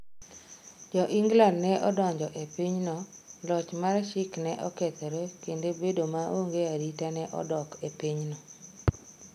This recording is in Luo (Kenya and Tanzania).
Jo-Ingland ne odonjo e pinyno, loch mar Sikh ne okethore kendo bedo maonge arita ne odok e pinyno.